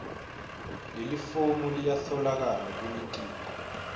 lelifomu liyatfolakala kulitiko